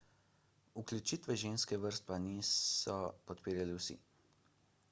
vključitve ženskih vrst pa niso podpirali vsi